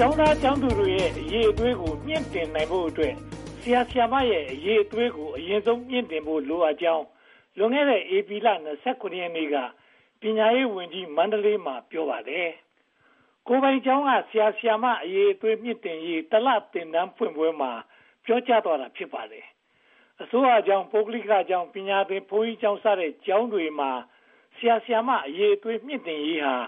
ကျောင်းသားတွေရဲ့ အရည်အသွေးကို မြှင့်တင်နိုင်ဖို့အတွက် ဆရာ၊ ဆရာမတွေရဲ့ အရည်အသွေးကို အရင်ဆုံး မြှင့်တင်ဖို့ လိုအပ်ကြောင်း လွန်ခဲ့တဲ့ ဧပြီလ (၂၇) ရက်နေ့က ပညာရေးဝန်ကြီးက မန္တလေးမှာ ပြောပါတယ်။ ကိုယ်ပိုင်ကျောင်းက ဆရာ၊ ဆရာမ အရည်အသွေး မြှင့်တင်ရေး (၁) လ သင်တန်းဖွင့်ပွဲမှာ ပြောကြားသွားတာ ဖြစ်ပါတယ်။ အစိုးရကျောင်း၊ ပုဂ္ဂလိကကျောင်း၊ ပညာသင်ဘုန်းကြီးကျောင်းစတဲ့ ကျောင်းတွေမှာ ဆရာ၊ ဆရာမတွေ အရေအသွေး မြှင့်တင်ရေးဟာ ရည်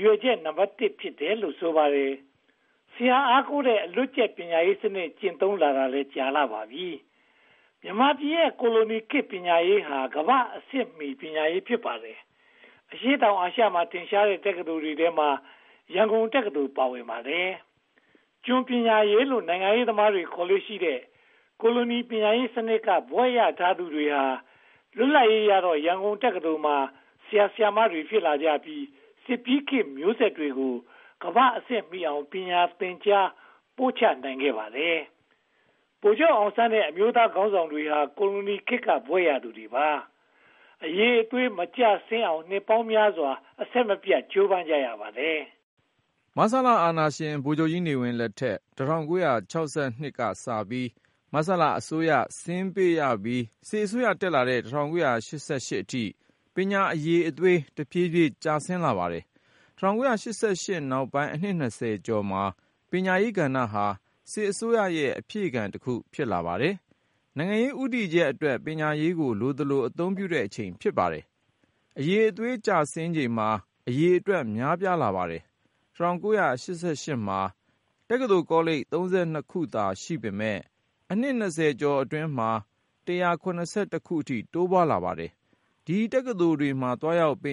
ရွယ်ချက် နံပတ် (၁) ဖြစ်တယ်လို့ ဆိုပါတယ်။ ဆရာအားကိုးတဲ့ အလွတ်ကျက်ပညာရေးစနစ် ကျင့်သုံးလာတာကြာပြီ ဖြစ်ပါတယ်။ မြန်မာပြည်ရဲ့ ကိုလိုခေတ်ပညာရေးဟာ ကမ္ဘာ့အဆင့်မီ ပညာရေး ဖြစ်ပါတယ်။ အရှေ့တောင်အာရှမှာ ထင်ရှားတဲ့ တက္ကသိုလ်တွေထဲမှာ ရန်ကုန်တက္ကသိုလ် ပါဝင်ပါတယ်။ ကျွန်ပညာရေးလို့ နိုင်ငံရေးသမားတွေ ခေါ်လေ့ရှိတဲ့ ကိုလိုနီပညာရေးစနစ်က ဘွဲ့ရသူတွေဟာ လွတ်လပ်ရေးရတော့ ရန်ကုန်တက္ကသိုလ်မှာ ဆရာတွေ ဖြစ်လာကြပြီး စစ်ပြီးခေတ်မျိုးဆက်ကို ကမ္ဘာ့အဆင့်မီအောင် သင်ကြားပို့ချနိုင်ခဲ့ပါတယ်။ ဗိုလ်ချုပ်အောင်ဆန်းနဲ့ အမျိုးသားခေါင်းဆောင်တွေဟာ ကိုလိုနီခေတ်က ဘွဲ့ရသူတွေပါ။ အရည်အသွေး မကျဆင်းအောင် နှစ်ပေါင်းများစွာ အဆက်မပြတ် ကြိုးပမ်းကြရပါတယ်။ မဆလအာဏာရှင် ဗိုလ်ချုပ်ကြီးနေဝင်းလက်ထက် ၁၉၆၂ ခုနှစ်ကစပြီး မဆလအစိုးရ ဆင်းပေးပြီး စစ်အစိုးရ တက်လာတဲ့ ၁၉၈၈ ခုနှစ်အထိ ပညာအရည်အသွေး တဖြည်းဖြည်း ကျဆင်းလာပါတယ်။ ၁၉၈၈ နောက်ပိုင်းအနှစ် (၂၀) ကျော်မှာ ပညာရေးကဏ္ဍဟာ စစ်အစိုးရရဲ့ အဖြည့်ခံတခု ဖြစ်လာပါတယ်။ နိုင်ငံရေး ဦးတည်ချက်အတွက် ပညာရေးကို လိုသလို အသုံးပြုတဲ့အချိန် ဖြစ်ပါတယ်။ အရည်အသွေး ကျဆင်းချိန်မှာ အရေအတွက် များပြားလာပါတယ်။ ၁၉၈၈ မှာ တက္ကသိုလ်ကောလိပ် (၃၂) ခုသာ ရှိပေမယ့် အနှစ် (၂၀) ကျော်အတွင်းမှာ (၁၇၁) ခုအထိ တိုးပွားလာပါတယ်။ ဒီတက္ကသိုလ်တွေမှာ သွားရောက်သ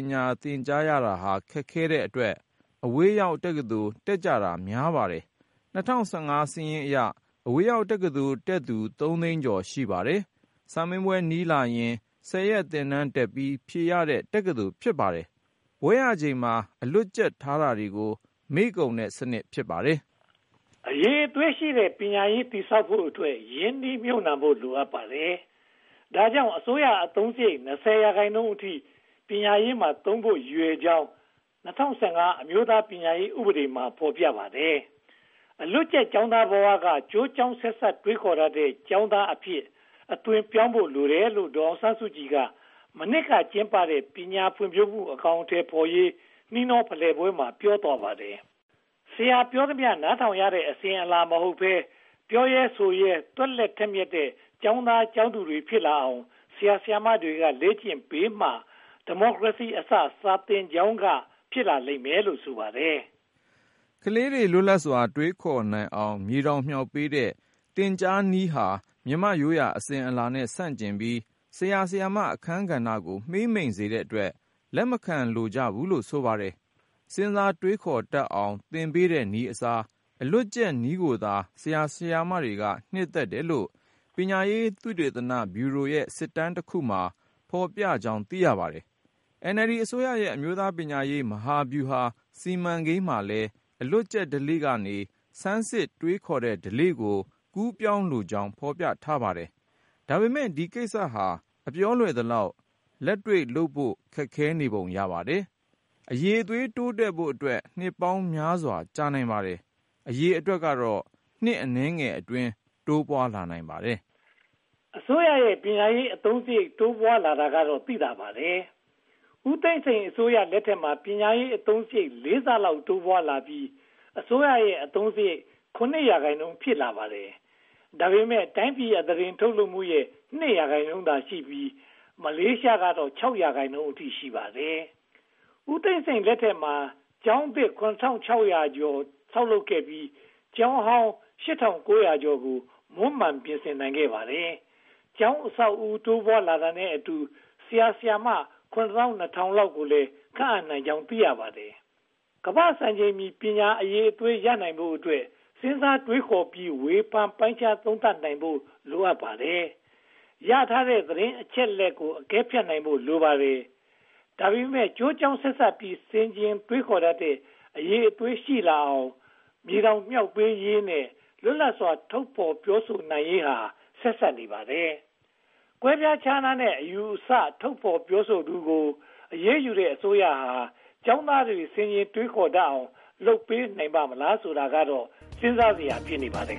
င်ကြားရတာ ခက်ခဲတဲ့အတွက်၊ အဝေးရောက်တက္ကသိုလ်တွေ တက်ကြတာများပါတယ်။ ၂၀၁၅ စာရင်းအရ အဝေးရောက်တက္ကသိုလ်တက်သူ သုံးသိန်းကျော် ရှိပါတယ်။ စာမေးပွဲနီးလာရင် ဆယ်ရက်သင်တန်းတက်ပြီး ဖြေရတဲ့ တက္ကသိုလ် ဖြစ်ပါတယ်။ ဘွဲ့ရချိန်မှာ အလွတ်ကျက်ထားတာတွေ မေ့ကုန်တဲ့စနစ် ဖြစ်ပါတယ်။ အရည်အသွေးရှိတဲ့ ပညာရေး တည်ဆောက်ဖို့အတွက် ရင်းနှီးမြုပ်နံှမှု လိုအပ်ပါတယ်။ ဒါကြောင့် အစိုးရအသုံးစရိတ် (၂၀) ရာခိုင်နှုန်းအထိ ပညာရေးမှာသုံးဖို့ ရည်ရွယ်ကြောင်း၊ ၂၀၁၅ အမျိုးသားပညာရေးဥပဒေမှာ ဖော်ပြထားပါတယ်။ အလွတ်ကျက်ကျောင်းသားဘဝကနေ ကျိုးကြောင်းဆက်စပ်တွေးခေါ်တတ်တဲ့ ကျောင်းသားအဖြစ် အသွင်းပြောင်းဖို့ လိုတယ်လို့ ဒေါ်အောင်ဆန်းစုကြည်က မနှစ်ကကျင်းပတဲ့ ပညာဖွံ့ဖြိုးမှု အကောင်အထည်ဖော်ရေး နှီးနှောဖလှယ်ပွဲမှာ ပြောပါတယ်။ ဆရာပြောသမျှ နားထောင်ရတဲ့ အစဉ်အလာ မဟုတ်ဘဲ၊ ပြောရဲဆိုရဲ သွက်လက်ထက်မြတ်တဲ့ ကျောင်းသားကျောင်းသူတွေ ဖြစ်လာအောင် ဆရာ၊ ဆရာမတွေက လေ့ကျင့်ပေးမှ ‘ဒီမိုကရေစီအစ စာသင်ကျောင်းက’ ဖြစ်လာပါလိမ့်မယ်လို့ ဆိုပါတယ်။ ကလေးတွေ လွတ်လပ်စွာ တွေးခေါ်နိုင်အောင် မြေတောင်မြှောက်ပေးတဲ့ သင်ကြားနည်းဟာ မြန်မာ့ရိုးရာအစဉ်အလာနဲ့ ဆန့်ကျင်ပြီး ဆရာ၊ ဆရာမအခန်းကဏ္ဍကို မှေးမှိန်စေတဲ့အတွက် လက်မခံကြဘူးလို့ ဆိုပါတယ်။ စဉ်းစားတွေးခေါ်တတ်အောင် သင်ပေးတဲ့နည်းအစား အလွတ်ကျက်နည်းကိုသာ ဆရာ၊ ဆရာမတွေက နှစ်သက်တယ်လို့ ပညာရေးသုတေသနဗျူရိုရဲ့ စစ်တမ်းတခုမှာ ဖော်ပြထားကြောင်း သိရပါတယ်။ NLD အစိုးရရဲ့ အမျိုးသားပညာရေး မဟာဗျူဟာစီမံကိန်းမှာလည်း အလွတ်ကျက်ဓလေ့ကနေ ဆန်းစစ်တွေးခေါ်တဲ့ဓလေ့ကို ကူးပြောင်းဖို့လိုကြောင်း ဖော်ပြထားပါတယ်။ ဒါပေမဲ့ ဒီကိစ္စက အပြောလွယ်သလောက် လက်တွေ့လုပ်ဖို့ ခက်ခဲပုံ ရပါတယ်။ အရည်အသွေး တိုးတက်ဖို့အတွက် နှစ်ပေါင်းများစွာ ကြာနိုင်ပါတယ်။ အရေအတွက်ကတော့ နှစ်အနည်းငယ်အတွင်း တိုးပွားလာနိုင်ပါတယ်။ အစိုးရရဲ့ ပညာရေးအသုံးစရိတ် တိုးပွားလာတာကတော့ သိသာပါတယ်။ ဦးသိန်းစိန်အစိုးရလက်ထက်မှာ ပညာရေးအသုံးစရိတ် လေးဆလောက် တိုးပွားလာပြီး အစိုးရအသုံးစရိတ်ရဲ့ (၇) ရာခိုင်နှုန်း ဖြစ်လာပါတယ်။ ဒါပေမဲ့ တိုင်းပြည်အသားတင်ထုတ်လုပ်မှုရဲ့ (၂) ရာခိုင်နှုန်းသာရှိပြီး မလေးရှားကတော့ (၆) ရာခိုင်နှုန်း ရှိပါတယ်။ ဦးသိန်းစိန်လက်ထက်မှာ ကျောင်းသစ် (၇၆၁၆) ဆောက်လုပ်နိုင်ခဲ့ပြီး ကျောင်းဟောင်း (၈၉၄၅) ကို မွမ်းမံနိုင်ခဲ့ပါတယ်။ ကျောင်းအဆောက်အဦး တိုးပွားလာတာနဲ့အတူ ဆရာ၊ ဆရာမ (၇၂၀၀၀) လောက်ကိုလည်း ခန့်အပ်နိုင်ကြောင်း သိရပါတယ်။ ကမ္ဘာ့စံချိန်မီ ပညာအရည်အသွေးရနိုင်ဖို့အတွက် စဉ်းစားတွေးခေါ်ပြီး ဝေဖန်ပိုင်းခြားသုံးသပ်နိုင်ဖို့ လိုပါတယ်။ ရထားတဲ့ သတင်းအချက်အလက်တွေကို အကဲဖြတ်နိုင်ဖို့ လိုပါတယ်။ ဒါပေမဲ့ ကျိုးကြောင်းဆက်စပ်ပြီး ဆင်ခြင်တွေးခေါ်တတ်တဲ့ အရည်အသွေး ရှိလာအောင် မြေတောင်မြှောက်ပေးရေးနဲ့ လွတ်လပ်စွာ ထုတ်ဖော်ပြောဆိုနိုင်ရေးဟာ ဆက်စပ်နေပါတယ်။ ကွဲပြားခြားနားတဲ့ အယူအဆ ထုတ်ဖော်ပြောဆိုသူကို အရေးယူနေတဲ့ အစိုးရဟာ ကျောင်းသားတွေ ဆင်ခြင်တွေးခေါ်တတ်အောင် လုပ်ပေးနိုင်ပါ့မလားဆိုတာကတော့ စဉ်းစားစရာ ဖြစ်နေပါတယ်